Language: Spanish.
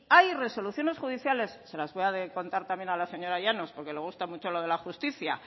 hay resoluciones judiciales se las voy a contar también a la señora llanos porque le gusta mucho lo de la justicia